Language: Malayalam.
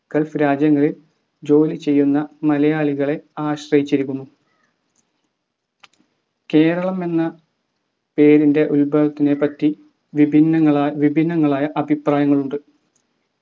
gulf രാജ്യങ്ങളിൽ ജോലി ചെയ്യുന്ന മലയാളികളെ ആശ്രയിച്ചിരിക്കുന്നു കേരളം എന്ന പേരിൻ്റെ ഉത്ഭവത്തിനെ പറ്റി വിഭിന്നങ്ങളാൽ വിഭിന്നങ്ങളായ അഭിപ്രായങ്ങളുണ്ട്